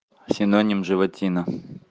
синоним животина